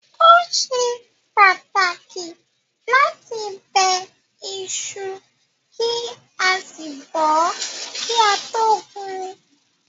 Ó ṣe pàtàkì láti bẹ iṣu kí a sì bọ̀ ọ́ kí a tó gún un.